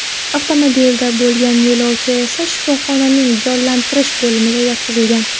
Avtomobilda bo‘lgan yo‘lovchi esa shifoxonaning jonlantirish bo‘limiga yotqizilgan.